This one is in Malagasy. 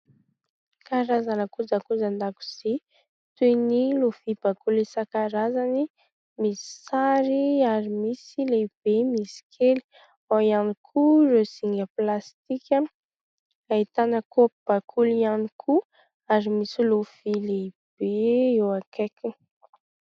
Karazana kojakoja an-dakozia : toy ny lovia bakoly isan-karazany, misy sary ary misy lehibe, misy kely ; ao ihany koa ireo zinga plastika. Ahitana kaopy bakoly ihany koa ary misy lovia lehibe eo akaikiny.